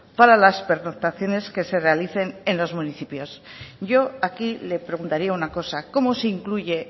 para las pernoctaciones que se realicen en los municipios yo aquí le preguntaría una cosa cómo se incluye